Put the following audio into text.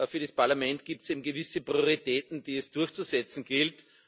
für das Parlament gibt es eben gewisse Prioritäten, die es durchzusetzen gilt.